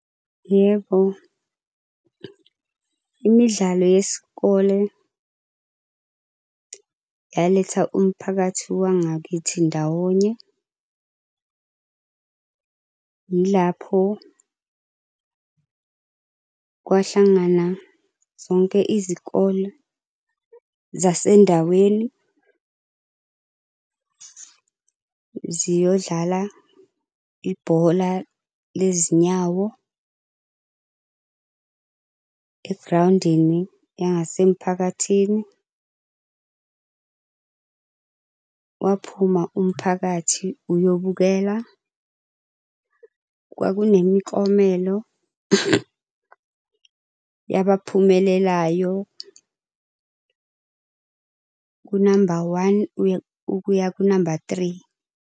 Yebo, imidlalo yesikole yaletha umphakathi wangakithi ndawonye. Yilapho kwahlangana zonke izikole zasendaweni ziyodlala ibhola lezinyawo egrawundini yangasemphakathini. Kwaphuma umphakathi uyobukela. Kwakunemiklomelo yabaphumelelayo kunamba one, kuya kunamba three.